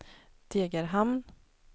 Degerhamn